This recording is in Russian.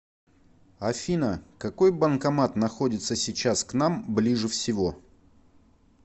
афина какой банкомат находится сейчас к нам ближе всего